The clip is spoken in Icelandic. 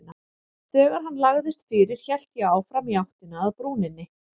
Þegar hann lagðist fyrir hélt ég áfram í áttina að brúninni.